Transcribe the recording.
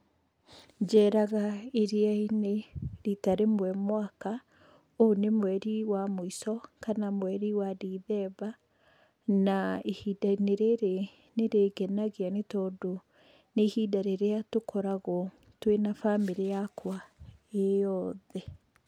Njeraga iria-inĩ rita rĩmwe mwaka, ũyũ nĩ mweri wa mũico kana mweri wa ndithemba, na ihinda-inĩ rĩrĩ nĩ rĩngenagia nĩ tondũ nĩ ihinda rĩrĩa tũkoragwo twina bamĩrĩ yakwa ĩyothe.